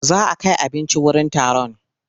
Za a kai abinci wurin taron.